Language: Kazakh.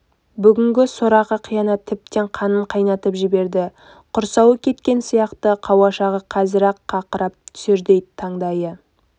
бүгінгі сорақы қиянат тіптен қанын қайнатып жіберді құрсауы кеткен сияқты қауашағы қазір-ақ қақырап түсердей таңдайы